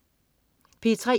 P3: